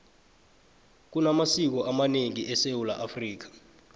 kunamasiko amanengi esewula afrika